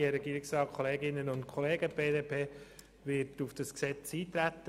Die BDP wird auf das Gesetz eintreten.